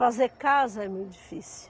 Fazer casa é muito difícil.